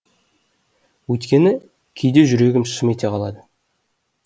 өйткені кейде жүрегім шым ете қалады